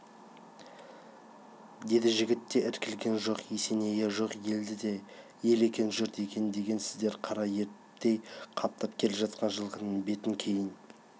деді жігіт те іркілген жоқ есенейі жоқ елді де ел екен жұрт екен десеңіздер қара ерттей қаптап келе жатқан жылқының бетін кейін